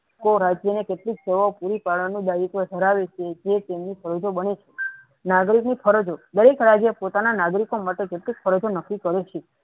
કો રાજ્યને કેટલીક સેવાઓ પુરી પાડવાનું દાયિત્વ ધરાવે છે જે તેમની ફરજો બને છે નાગરિકની ફરજો દરેક રાજ્ય પોતાના નાગરિકો માટે કેટલીક ફરજો નકી કરે છે.